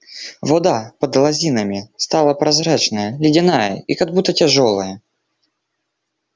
вода под лозинами стала прозрачная ледяная и как будто тяжёлая